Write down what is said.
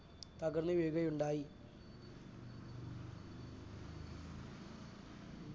തകർന്നു വീഴുകയുണ്ടായി.